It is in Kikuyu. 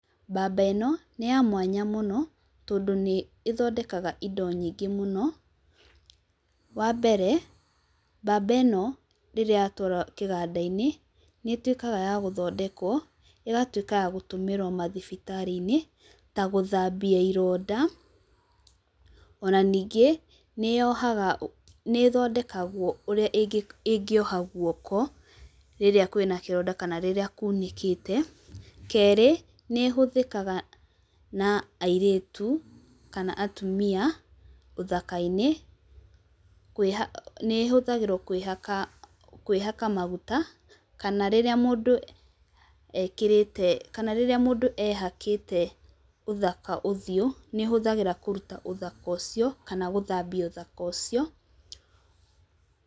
Mbamba ĩno nĩ ya mwanya mũno tondũ nĩ ĩthondekaga indo nyingĩ mũno. Wa mbere, mbamba ĩno rĩrĩa yatwarwo kĩganda-inĩ, nĩ ĩtuĩkaga ya gũthondekwo ĩgatuĩka ya gũtũmĩrwo mathibitari-inĩ, ta gũthambia ironda. O na ningĩ nĩ yohaga, nĩ ĩthondekagwo ũrĩa ĩngĩoha gũoka rĩrĩa kwĩna kĩronda kana ũrĩa kuunĩkĩte. Kerĩ, nĩ ĩhũthĩkaga na airĩtu, kana atumia ũthaka-inĩ, kwĩhaka, nĩ ĩhũthagĩrwo kwĩhaka, kwĩhaka maguta kana rĩrĩa mũndũ ekĩrĩte kana rĩrĩa mũndũ ehakĩte ũthaka ũthiũ, nĩ ũhũthagĩra kũruta ũthaka ũcio, kana gũthambia ũthaka ũcio.